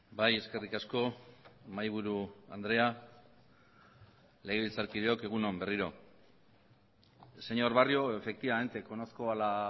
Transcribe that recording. bai eskerrik asko mahaiburu andrea legebiltzarkideok egun on berriro señor barrio efectivamente conozco a la